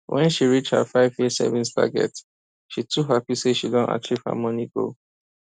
when she reach her five year savings target she too happy say she don achieve her money goal